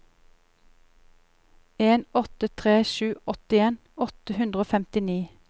en åtte tre sju åttien åtte hundre og femtini